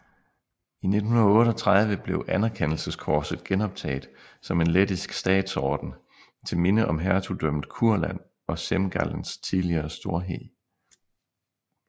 I 1938 blev Anerkendelseskorset genoptaget som en lettisk statsorden til minde om Hertugdømmet Kurland og Semgallens tidligere storhed